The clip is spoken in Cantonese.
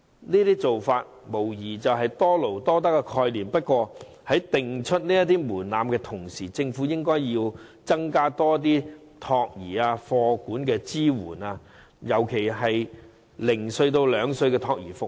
這些做法無疑符合多勞多得的概念，但在訂定門檻的同時，政府應增加託兒和課餘託管的支援，尤其是零至兩歲的託兒服務。